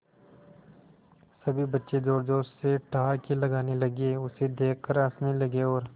सभी बच्चे जोर जोर से ठहाके लगाने लगे उसे देख कर हंसने लगे और